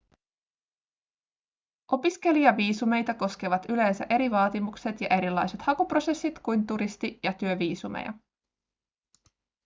opiskelijaviisumeita koskevat yleensä eri vaatimukset ja erilaiset hakuprosessit kuin turisti- ja työviisumeja